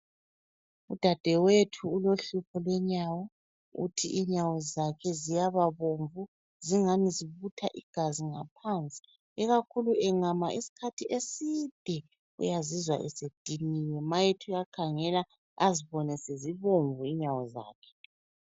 Udadewethu ulohlupho lwenyawo uthi inyawo zakhe ziyaba bomvu, zingani zibutha igazi ngaphansi. Ikakhulu engama isikhathi eside uyazizwa esediniwe ma ethi uyakhangela azibone sezibomvu inyawo zakhe.